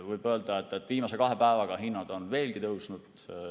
Võib öelda, et viimase kahe päevaga on hinnad veelgi tõusnud.